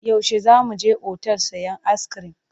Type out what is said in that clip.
Yaushe za mu je otal sayen ayiskirim?